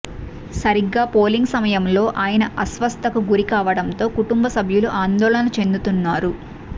సరిగ్గా పోలింగ్ సమయంలో ఆయన అస్వస్థతకు గురి కావడంతో కుటుంబ సభ్యులు ఆందోళన చెందుతున్నారు